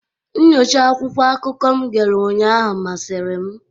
Nnyocha akwụkwọ akụkọ m gere ụnyaahụ masịrị m.